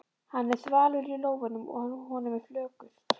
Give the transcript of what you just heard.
Hann er þvalur í lófunum og honum er flökurt.